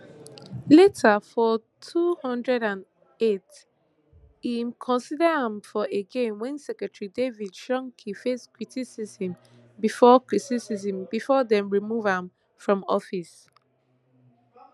later for two hundred and eight im consider am for again wen secretary david shulkin face criticism before criticism before dem remove am from office